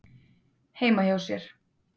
heima hjá sér.